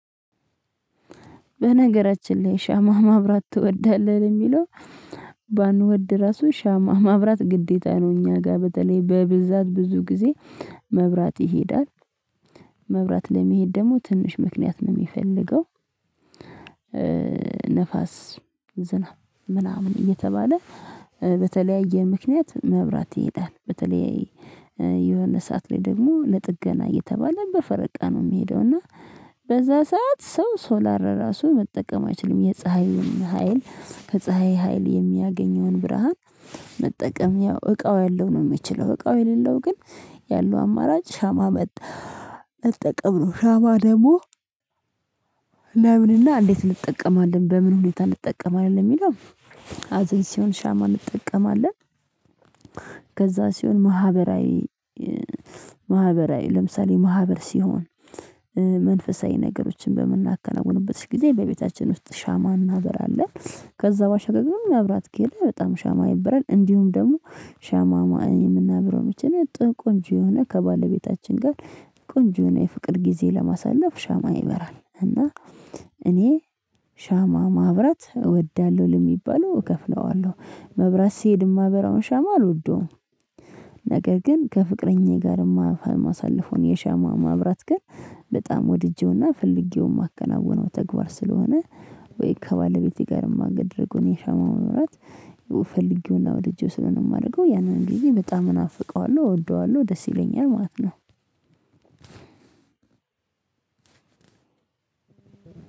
በነገራችን ላይ ሻማ ማብራት ትወዳለህ? ለሚለው ባንወድ ራሱ ሻማ ማብራት ግዴታ ነው እኛ ጋር በተለይ በብዛት ብዙ ጊዜ መብራት ይሄዳል መብራት ለመሄድ ደግሞ ትንሽ ምክንያት ነው የሚፈልገው ንፋስ፣ ዝናብ ምናምን እየተባለ በተለያየ ምክንያት መብራት ይሄዳል። በተለይ የሆነ ሰዓት ላይ ደግሞ ለጥገና እየተባለ በፈረቃ ነው የሚሄደው እና በዛ ሰዓት ሰው ሶላር ራሱ መጠቀም አይችልም የፀሀይን ሀይል ከፀሀይ ሀይል የሚያገኘውን ብርሃን መጠቀም ያው እቃው ያለው ነው የሚችለው እቃው የሌለው ግን ያለው አማራጭ ሻማ መጥ መጠቀም ነው። ሻባ ደግሞ ለምንና እንዴት እንጠቀማለን በምን ሁኔታ እንጠቀማለን የሚለው ሀዘን ሲሆን ሻማ እንጠቀማለን፣ ከዛ ሲሆን ማህበራዊ ማህበራዊ ለምሳሌ ማህበር ሲሆን መንፈሳዊ ነገሮችን በምናከናውንበት ጊዜ በቤታችን ውስጥ ሻማ እናበራለን። ከዛ ባሻገር ግን መብራት ከሄደ በጣም ሻማ ይበራል እንዲሁም ደግሞ ሻማ የምናበራው መቼ ነው ጥ ቆንጆ የሆነ ከባለቤታችን ጋር ቆንጆ የሆነ የፍቅር ጊዜ ለማሳለፍ ሻማ ይበራል። እና እኔ ሻማ ማብራት እወዳለሁ ለሚባለው እከፍለዋለሁ መብራት ሲሄድ የማበራውን ሻማ አልወደውም ነገር ግን ከፍቅረኛዬ ጋር የማሳልፈውን የሻማ ማብራት ግን በጣም ወድጄውና ፈልጌው የማከናውነው ተግባር ስለሆነ ወይ ከባለቤቴ ጋር የማደርገዉን የሻማ ማብራት ፈለጌውና ወድጄው ስለሆነ የማደርገው ያንን ጊዜ በጣም እናፍቀዋለሁ፣ እወደዋለሁ ደስ ይለኛል ማለት ነው።